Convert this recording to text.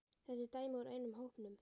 Þetta er dæmi úr einum hópnum